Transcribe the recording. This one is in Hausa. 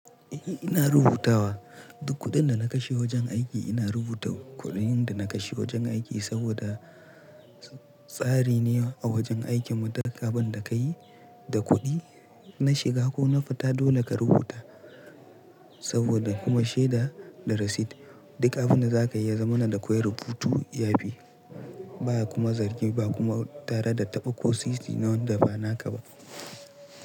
Ina rubutawa duk kuɗin da na kashe wajen aiki ina rubuta kuɗin da na kashe wajen aiki saboda tsari ne a wajen aikinmu duk abinda ka yi da kuɗi na shiga ko na fita dole ka rubuta saboda kuma shaida da rasit duk abinda za ka yi yazamana da koyi rubutu yafi baya kuma zargi ba kuma tare da taɓa ko sisi na wanda ba naka ba.